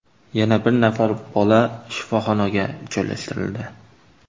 Yana bir nafar bola shifoxonaga joylashtirildi.